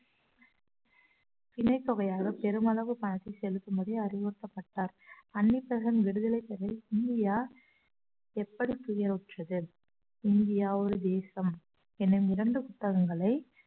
திணைப்பவையாக பெருமளவு பணத்தை செலுத்தும்படி அறிவுறுத்தப்பட்டார் அன்னி பெசன்ட் விடுதலை செய்ய இந்தியா எப்படி துயருற்றது இந்தியா ஒரு தேசம் எனும் இரண்டு புத்தகங்களை